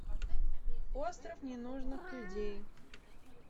остров ненужных людей